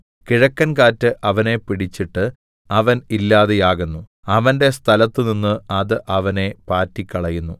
കിഴക്കൻകാറ്റ് അവനെ പിടിച്ചിട്ട് അവൻ ഇല്ലാതെയാകുന്നു അവന്റെ സ്ഥലത്തുനിന്ന് അത് അവനെ പാറ്റിക്കളയുന്നു